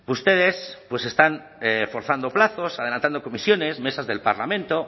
ustedes pues están forzando plazos adelantando comisiones mesas del parlamento hoy